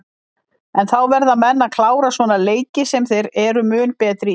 En þá verða menn að klára svona leiki sem þeir eru mun betri í?